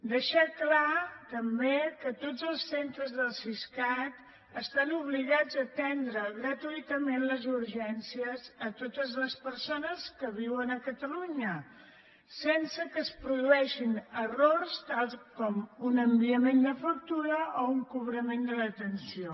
deixar clar també que tots els centres del siscat estan obligats a atendre gratuïtament les urgències a totes les persones que viuen a catalunya sense que es produeixin errors tals com un enviament de factura o un cobrament de l’atenció